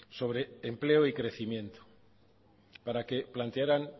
sobre empleo y crecimiento para que plantearan